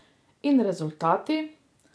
In rezultati?